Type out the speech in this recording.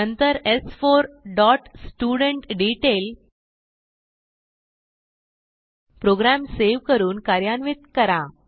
नंतर स्4 dot student detail program save करून कार्यान्वित करा